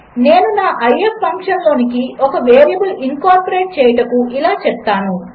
నేనునా if ఫంక్షన్లోనికిఒకవేరియబుల్ఇన్కార్పొరేట్చేయుటకుఇలాచెప్తాను